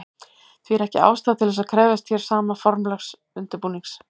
Því er ekki ástæða til þess að krefjast hér sama formlegs undirbúnings.